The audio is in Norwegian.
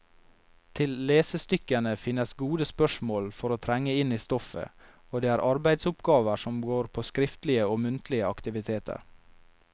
Til lesestykkene finnes gode spørsmål for å trenge inn i stoffet, og det er arbeidsoppgaver som går på skriftlige og muntlige aktiviteter.